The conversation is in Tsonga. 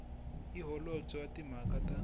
hi holobye wa timhaka ta